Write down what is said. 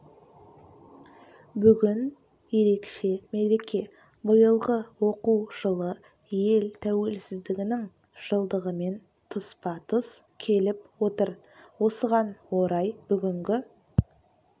бүгін ерекше мереке биылғы оқу жылы ел тәуелсіздігінің жылдығымен тұспа тұс келіп отыр осыған орай бүгінгі